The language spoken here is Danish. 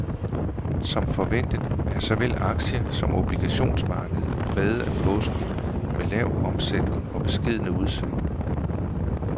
Som forventet er såvel aktie som obligationsmarkedet præget af påsken med lav omsætning og beskedne udsving.